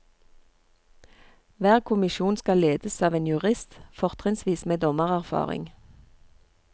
Hver kommisjon skal ledes av en jurist, fortrinnsvis med dommererfaring.